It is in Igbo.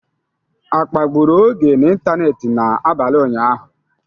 A kpagburu Oge n'ịntanetị n'abalị ụnyaahụ?